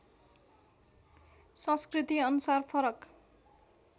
संस्कृति अनुसार फरक